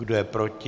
Kdo je proti?